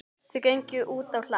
Þau gengu útá hlað.